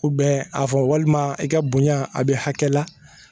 a fɔ walima i ka bonya a bɛ hakɛ la